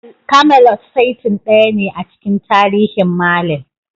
Camelot saitin daya ne a cikin tarihin Merlin.